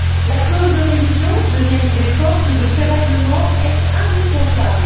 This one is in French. La clause de révision deuxième idée forte de ce règlement est indispensable.